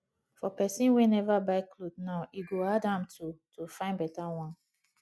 for pesin wey never buy cloth now e go hard am to to fyn beta one